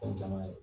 Fɛn caman ye